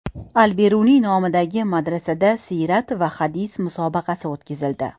Al-Beruniy nomidagi madrasada siyrat va hadis musobaqasi o‘tkazildi.